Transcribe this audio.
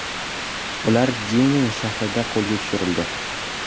Ular Jenin shahrida qo‘lga tushirildi.